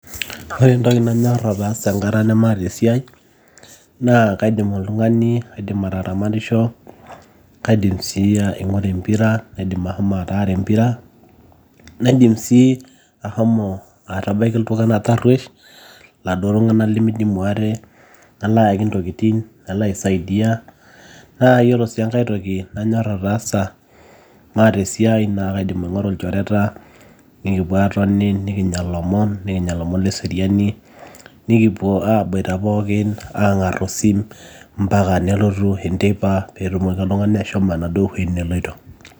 ore entoki nanyorr ataasa enkata nemaata esiai naa kaidim oltung'ani aidim ataramatisho kaidim sii aing'ura empira naidim ahomo ataara empira naidim sii ahomo atabaiki iltung'anak tarruesh iladuo tung'anak limidimu ate nalo ayaki intokitin nalo aisaidia naa yiolo sii enkae toki nanyorr ataasa maata esiai naa kaidim aing'oru ilchoreta nikipuo aatoni nikinyia ilomon, nikinya ilomon leseriani nikipuo aboita pookin ang'arr osim mpaka nebau enteipa peetumoki oltung'ani ashomo enaduo wueji neloito